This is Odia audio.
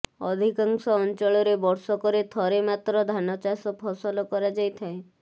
ଅଧିକାଂଶ ଅଞ୍ଚଳରେ ବର୍ଷକରେ ଥରେ ମାତ୍ର ଧାନଚାଷ ଫସଲ କରାଯାଇଥାଏ